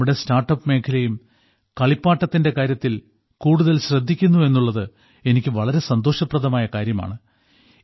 നമ്മുടെ സ്റ്റാർട്ടപ് മേഖലയും കളിപ്പാട്ടത്തിന്റെ കാര്യത്തിൽ കൂടുതൽ ശ്രദ്ധിക്കുന്നു എന്നുള്ളത് എനിക്ക് വളരെ സന്തോഷപ്രദമായ കാര്യമാണ്